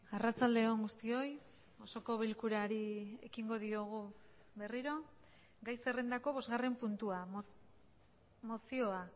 arratsalde on guztioi osoko bilkurari ekingo diogu berriro gai zerrendako bosgarren puntua mozioa